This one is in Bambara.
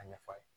A ɲɛfɔ a ye